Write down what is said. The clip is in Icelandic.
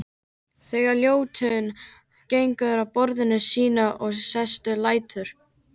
Þegar Ljótunn gengur að borðinu sínu og sest lætur